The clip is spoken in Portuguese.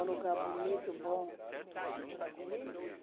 Um lugar bonito, bom.